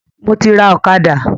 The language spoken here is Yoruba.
Mo ti rà ọ̀kadà